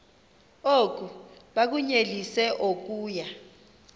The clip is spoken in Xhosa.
oku bakunyelise okuya